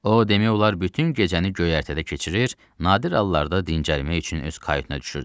O, demək olar bütün gecəni göyərtədə keçirir, nadir hallarda dincəlmək üçün öz kayutuna düşürdü.